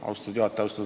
Austatud juhataja!